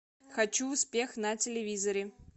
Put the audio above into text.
хочу успех на телевизоре